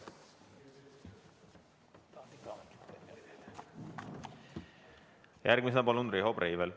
Järgmisena palun Riho Breiveli.